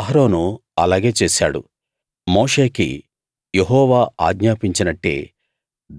అహరోను అలాగే చేశాడు మోషేకి యెహోవా ఆజ్ఞాపించినట్టే